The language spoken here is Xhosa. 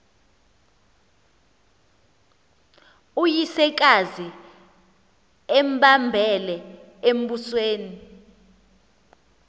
uyisekazi embambele embusweni